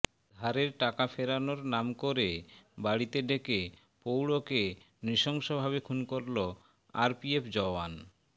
ধারের টাকা ফেরানোর নাম করে বাড়িতে ডেকে প্রৌঢ়কে নৃশংসভাবে খুন করল আরপিএফ জওয়ান